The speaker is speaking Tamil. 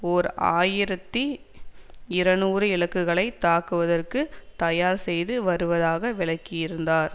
ஓர் ஆயிரத்தி இருநூறு இலக்குகளை தாக்குவதற்கு தயார் செய்து வருவதாக விளக்கியிருந்தார்